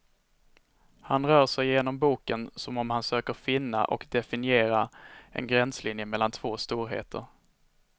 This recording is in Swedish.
Han rör sig genom boken som om han söker finna och definiera en gränslinje mellan två storheter.